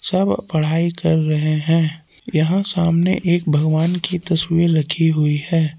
सब पढ़ाई कर रहे हैं यहां सामने एक भगवान की तस्वीर रखी हुई है।